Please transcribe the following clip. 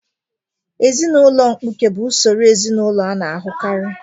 Ezinụlọ mkpuke bụ usoro ezinụlọ a na-ahụkarị.